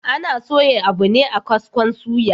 Ana soya abu ne a kaskon suya